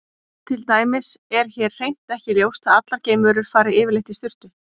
Til dæmis er hér hreint ekki ljóst að allar geimverur fari yfirleitt í sturtu.